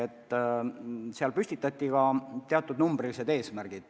Ka seal püstitati teatud numbrilised eesmärgid.